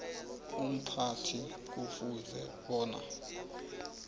umphathi kufuze bona